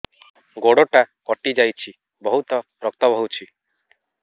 ଗୋଡ଼ଟା କଟି ଯାଇଛି ବହୁତ ରକ୍ତ ବହୁଛି